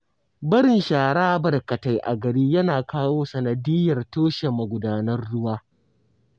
Barin shara barkatai a gari yana kawo sanadiyyar toshe magudanan ruwa